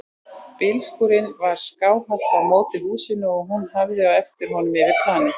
Bílskúrinn var skáhallt á móti húsinu og hún horfði á eftir honum yfir planið.